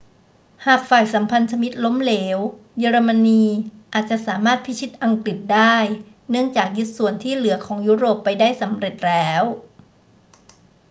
หากฝ่ายสัมพันธมิตรล้มเหลว เยอรมนีอาจจะสามารถพิชิตอังกฤษได้ เนื่องจากยึดส่วนที่เหลือของยุโรปไปได้สำเร็จแล้ว